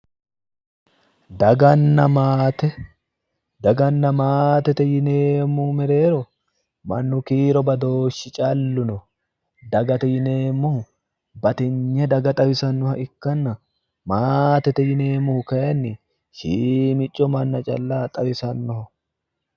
Daganna maate, dagana maatete yinnemmori mereero mannu kiiro badooshi callu no, dagate yinneemmohu bati'ne daga xawisanoha ikkanna ,maatete yinneemmori kayinni shiimico manna calla xawisanoho